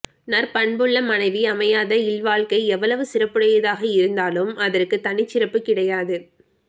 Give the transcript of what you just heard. நற்பண்புள்ள மனைவி அமையாத இல்வாழ்க்கை எவ்வளவு சிறப்புடையதாக இருந்தாலும் அதற்குத் தனிச்சிறப்புக் கிடையாது